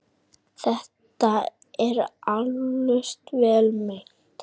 Þetta var eflaust vel meint.